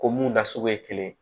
Ko mun na sogo ye kelen ye